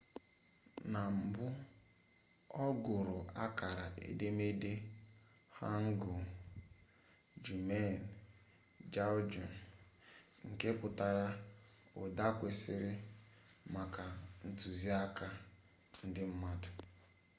na mbụ ọ gụrụ akara edemede hangeul hunmin jeongeum nke pụtara ụda kwesịrị maka ntuziaka ndị mmadụ